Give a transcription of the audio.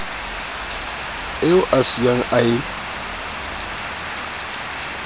eo a siyang a e